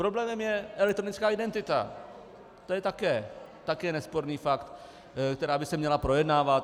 Problémem je elektronická identita, to je také nesporný fakt, která by se měla projednávat.